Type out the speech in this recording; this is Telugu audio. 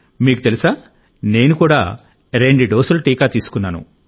మీకు తెలుసా నేను కూడా రెండు డోసులు టీకా తీసుకున్నాను